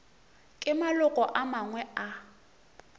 ke maloko a mangwe a